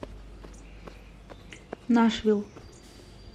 нашвилл